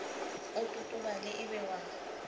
o totobale e be wa